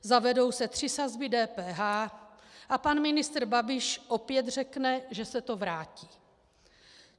Zavedou se tři sazby DPH, a pan ministr Babiš opět řekne, že se to vrátí.